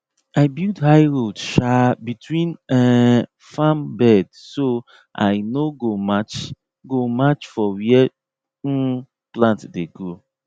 i build high road um between um farm bed so i no go match go match for where um plant dey grow